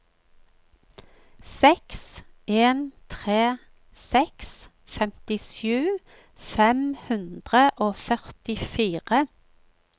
seks en tre seks femtisju fem hundre og førtifire